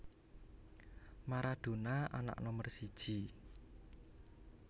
Maradona anak nomor siji